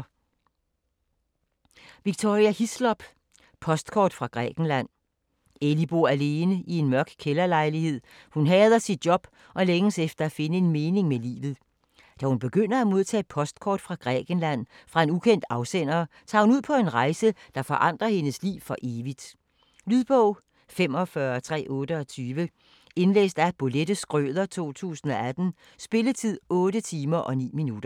Hislop, Victoria: Postkort fra Grækenland Ellie bor alene i en mørk kælderlejlighed, hun hader sit job og længes efter at finde en mening med livet. Da hun begynder at modtage postkort fra Grækenland fra en ukendt afsender, tager hun ud på en rejse, der forandrer hendes liv for evigt. Lydbog 45328 Indlæst af Bolette Schrøder, 2018. Spilletid: 8 timer, 9 minutter.